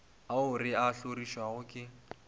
ao re a hlorišago ke